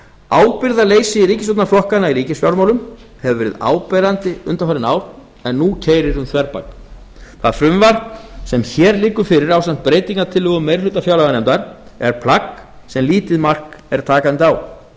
ábyrgðarleysi ríkisstjórnarflokkanna í ríkisfjármálum hefur verið áberandi undanfarin ár en nú keyrir um þverbak það frumvarp sem hér liggur fyrir ásamt breytingartillögum meiri hluta fjárlaganefndar er plagg sem lítið mark er takandi á